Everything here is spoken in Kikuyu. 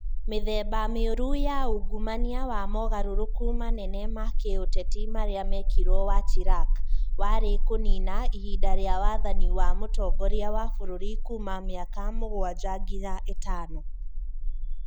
Mĩthemba Mĩũru ya ungumania na mogarũrũku manene ma gĩũteti marĩa mekirũo wa Chirac warĩ kũniina ihinda rĩa wathani wa mũtongoria wa bũrũri kuuma mĩaka mũgwanja nginya ĩtano.